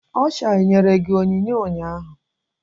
Ọsha enyere gị onyinye ụnyaahụ?